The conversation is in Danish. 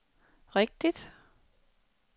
rigtigt